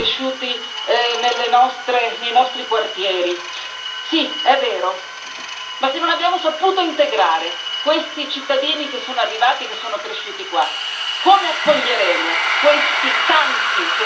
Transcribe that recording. Sì, è vero ma se non abbiamo saputo integrare questi cittadini che sono arrivati, che sono cresciuti qua, come accoglieremo questi tanti che stanno arrivando e che dovremmo accogliere e integrare?